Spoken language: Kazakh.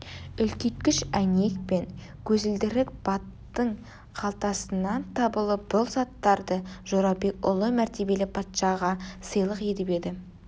үлкейткіш әйнек пен көзілдірік баттың қалтасынан табылып бұл заттарды жорабек ұлы мәртебелі патшаға сыйлық етіп еді